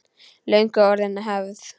Löngu orðin hefð.